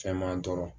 Fɛn m'an tɔɔrɔ